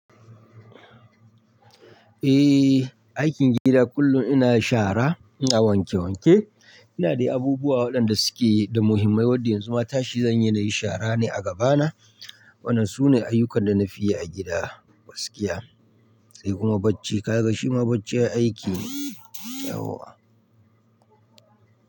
Eh, aikin gida kullum ina shara, ina wanke wanke, ina dai abubuwa waɗanda suke da muhimmai wanda yanzu ma tashi zan yi nayi shara ne a gabana. Wannan sune ayyukan da na fi yi a gida, gaskiya. Sai kuma bacci, ka ga shi ma bacci aiki ne.